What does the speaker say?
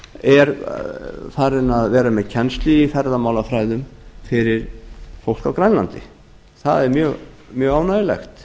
hjaltadal er farinn að vera með kennslu í ferðamálafræðum fyrir fólk á grænlandi það er mjög ánægjulegt